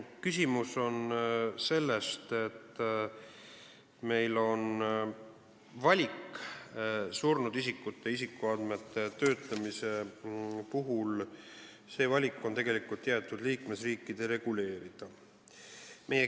Küsimus on selles, et surnud isikute isikuandmete töötlemise puhul on valik, mis on tegelikult jäetud liikmesriikide reguleerida.